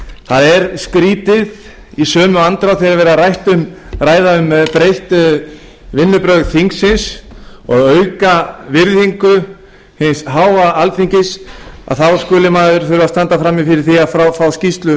það er skrýtið í sömu andrá þegar er verið að ræða um breytt vinnubrögð þingsins og auka virðingu hins háa alþingis að þá skuli maður þurfa að standa frammi fyrir því að fá skýrslu